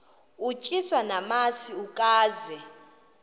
utyiswa namasi ukaze